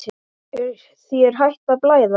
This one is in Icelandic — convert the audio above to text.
Er þér hætt að blæða?